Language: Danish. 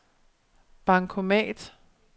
bankomat